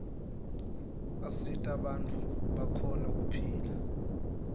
asita bantfu bakhone kuphila